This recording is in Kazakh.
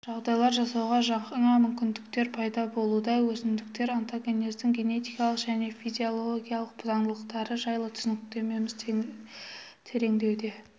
жағдайлар жасауға жаңа мүмкіндіктер пайда болуда өсімдіктер онтогенезінің генетикалық және физиологиялық заңдылықтары жайлы түсініктеріміз тереңдеуде